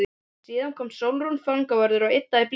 Áðan kom Sólrún fangavörður og yddaði blýantinn.